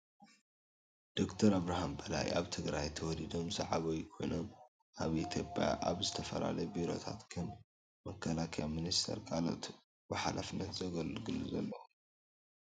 ዶክተር ኣብርሃም በላይ ኣብ ትግራይ ተወሊዶም ዝዓበዩ ኮይኖም ኣብ ኢትዮጵያ ኣብ ዝተፈላለዩ ቢሮታት ከም መከላከሊያ ሚንስተርን ካልኦትን ብሓላፍነት ዘገልግሉ ዘለው እዮም።